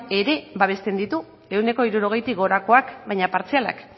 ere babesten ditu ehuneko hirurogeitik gorakoak baina partzialak